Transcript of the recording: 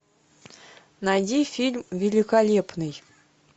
найди фильм великолепный